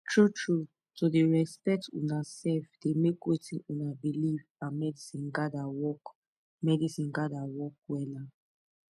true trueto dey respect una sef dey make wetin una believe and medicine gather work medicine gather work wella